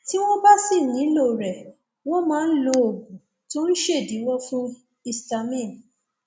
tí wọn bá sì nílò rẹ wọn máa ń lo oògùn tó ń ṣèdíwọ fún histamine